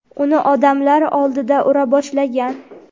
uni odamlar oldida ura boshlagan.